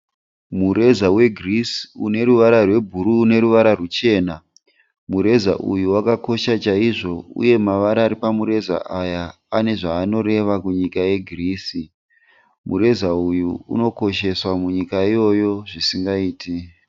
Mureza weGreece une ruvara rwebhuruu neruvara rwuchena. Mureza uyu wakakosha chaizvo uye mavara ari pamureza aya ane zvaanoreva kunyika yeGreece. Mureza uyu unokosheswa munyika iyoyo zvisingaite.